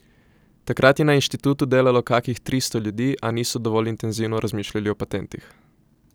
Takrat je na inštitutu delalo kakih tristo ljudi, a niso dovolj intenzivno razmišljali o patentih.